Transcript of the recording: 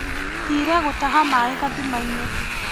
Thire gũtaha maĩ gathimainĩ.